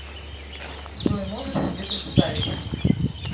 джой можешь себе представить